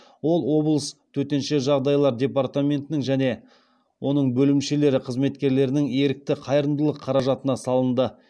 ол облыс төтенше жағдайлар департаментінің және оның бөлімшелері қызметкерлерінің ерікті қайырымдылық қаражатына салынды